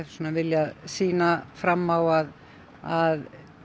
viljað sýna fram á að að